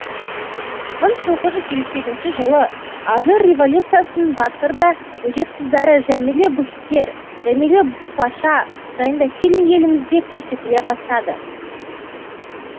мың тоғыз жүз елу сегізінші жылы алжир революциясының батыр да өжет қыздары жамилә бухитер жәмилә бупаша жайында фильм елімізде көрсетіле бастады